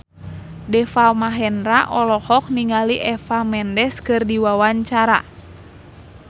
Deva Mahendra olohok ningali Eva Mendes keur diwawancara